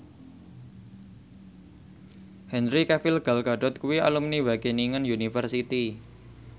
Henry Cavill Gal Gadot kuwi alumni Wageningen University